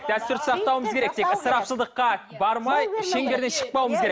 дәстүрді сақтауымыз керек тек ысырапшылдыққа бармай шеңберден шықпауымыз керек